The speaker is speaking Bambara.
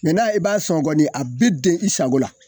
na e b'a sɔn kɔnɔ a bi den i sago la